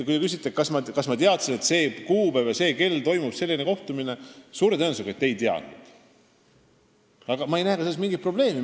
Kui te küsite, kas ma teadsin, et sel kuupäeval ja sel kellaajal toimub selline kohtumine, siis suure tõenäosusega ei teadnud, aga ma ei näe selles ka mingit probleemi.